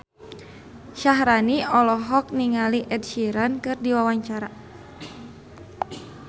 Syaharani olohok ningali Ed Sheeran keur diwawancara